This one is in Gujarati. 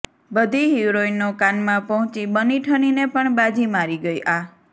બધી હિરોઇનો કાનમાં પહોંચી બનીઠનીને પણ બાજી મારી ગઈ આ